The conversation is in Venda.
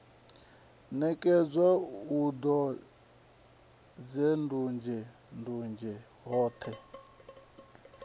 ṋekedzwa hu nandunzhendunzhe ṱhodea dzoṱhe